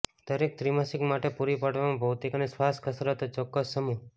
દરેક ત્રિમાસિક માટે પૂરી પાડવામાં ભૌતિક અને શ્વાસ કસરતો ચોક્કસ સમૂહ